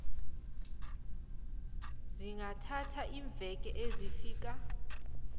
zingathatha iimveke ezifika